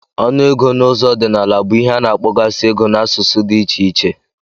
Onu ogụụ ego na ụzọ ọdinala bu ihe ana akpọgasi ego na asụsụ di iche iche.